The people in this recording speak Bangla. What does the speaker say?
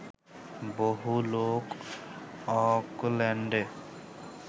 বহু লোক অকল্যান্ডে